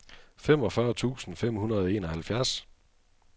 femogfyrre tusind fem hundrede og enoghalvfjerds